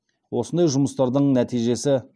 осындай жұмыстардың нәтижесі